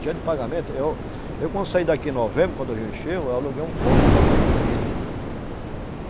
Dia de pagamento, eu, eu quando saí daqui em novembro, quando o rio encheu, eu aluguei um ponto lá, muito bonito.